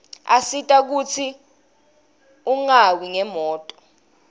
asita kutsi ungawi umnotfo